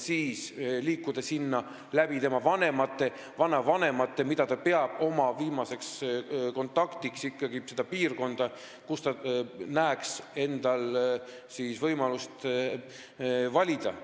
Nende puhul tuleks vanemate või vanavanemate kaudu liikuda viimase kontaktini Eestiga ja selle piirkonnani, kus nad näeksid endal võimalust valida.